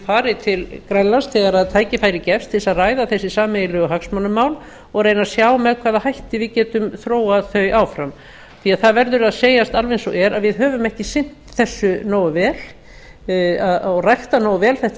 fari til grænlands þegar tækifæri gefst til að ræða þessi sameiginlegu hagsmunamál og reyna að sjá með hvaða hætti við getum þróað þau áfram því það verður að segjast alveg eins og er að við höfum ekki sinnt þessu nógu vel og ræktað nógu vel þetta